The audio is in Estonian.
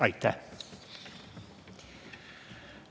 Aitäh!